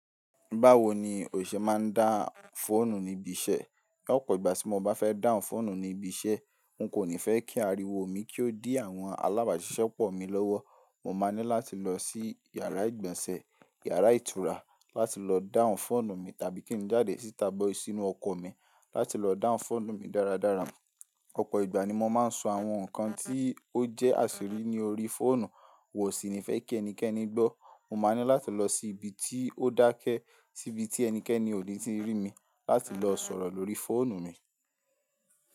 Báwo ni òṣìṣẹ́ máa ń dá fọ́ọ̀nù níbi iṣẹ́? Ọ̀pọ̀ ìgbà tí mo bá fẹ́ dáhùn fọ́ọ̀nù ní ibi iṣẹ́, n kò ní fẹ́ kí ariwo mi kí ó dí àwọn alábàáṣiṣẹ́pọ̀ mi lọ́wọ́. Mo máa ní láti lọ sí yàrá ìgbọ̀nsẹ̀, yàrá ìtura láti lọ dáhùn fóònù mi, tàbí kí n jáde síta bọ́ sínu ọkọ̀ mi láti lọ dáhùn fóònù mi dáradára. Ọ̀pọ̀ ìgbà ni mo máa ń sọ àwọn nǹkan tí ó jẹ́ àṣírí ní orí fóònù, n wò sì ní fẹ́ kí ẹnikẹ́ni gbọ́. Mo máa ní láti lọ sí ibi tí ó dákẹ́, sí ibi tí ẹnikẹ́ni ò ní tí rí mi láti lọ sọ̀rọ̀ lórí fóònù mi.